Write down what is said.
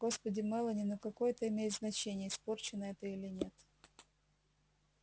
господи мелани ну какое это имеет значение испорченная ты или нет